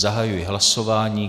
Zahajuji hlasování.